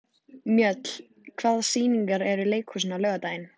Mjöll, hvaða sýningar eru í leikhúsinu á laugardaginn?